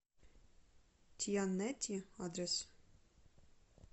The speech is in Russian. тианети адрес